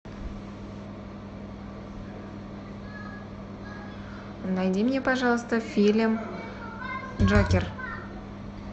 найди мне пожалуйста фильм джокер